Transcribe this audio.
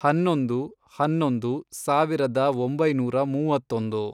ಹನ್ನೊಂದು, ಹನ್ನೊಂದು, ಸಾವಿರದ ಒಂಬೈನೂರ ಮೂವತ್ತೊಂದು